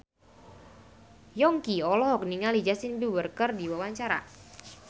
Yongki olohok ningali Justin Beiber keur diwawancara